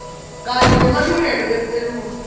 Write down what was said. kanye nemalungelo eluntfu